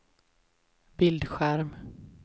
bildskärm